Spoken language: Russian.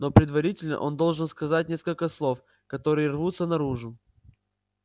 но предварительно он должен сказать несколько слов которые рвутся наружу